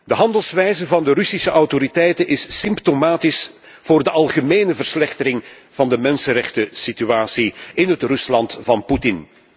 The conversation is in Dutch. De handelwijze van de Russische autoriteiten is symptomatisch voor de algemene verslechtering van de mensenrechtensituatie in het Rusland van Poetin.